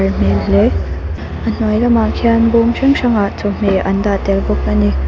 hmel hle a hnuai lamah khian bawm hrang hrang ah chawhmeh an dah tel bawk a ni.